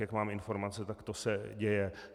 Jak mám informace, tak to se děje.